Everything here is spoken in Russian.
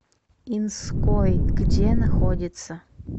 инской где находится